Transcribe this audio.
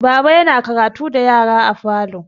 Baba yana karatu da yara a falo.